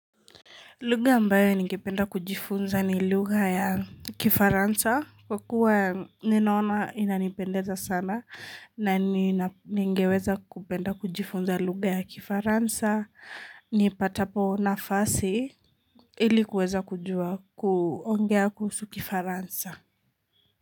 Lugha ambayo ningependa kujifunza ni lugha ya kifaransa kwa kuwa ninaona inanipendeza sana na ningeweza kupenda kujifunza lugha ya kifaransa. Nipatapo nafasi ilikuweza kujua kuongea kuhusu kifaransa.